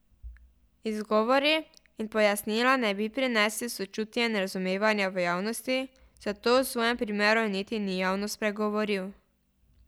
Izgovori in pojasnila ne bi prinesli sočutja in razumevanja v javnosti, zato o svojem primeru niti ni javno spregovoril.